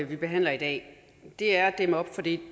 vi behandler i dag er at dæmme op for det